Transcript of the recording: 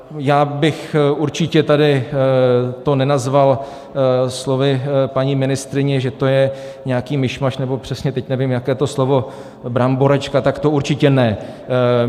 Já bych určitě tady to nenazval slovy paní ministryně, že to je nějaký mišmaš nebo přesně teď nevím, jaké to slovo - bramboračka, tak to určitě ne.